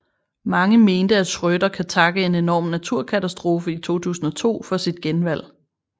Mange mente at Schröder kan takke en enorm naturkatastrofe i 2002 for sit genvalg